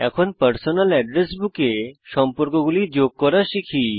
এখন personal address বুকে সম্পর্কগুলি যোগ করা শিখি